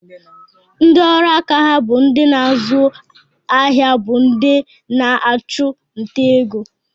Ndị ọrụaka ha bụ ịzụ ahịa bụ ndị na-achụ nta ego